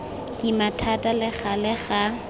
kima thata le gale ga